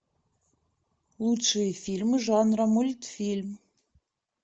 лучшие фильмы жанра мультфильм